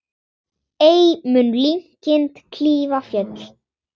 Ei mun linkind klífa fjöll.